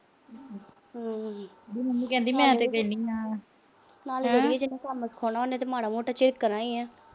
ਹੂੰ। ਨਾਲੇ ਜਿਹਨੇ ਕੰਮ ਸਿਖਾਉਣਾ ਉਹਨੇ ਤਾਂ ਮਾੜਾ-ਮੋਟਾ ਝਿੜਕਣਾ ਈ ਆ।